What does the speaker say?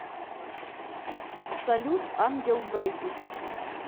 салют ангел бэйби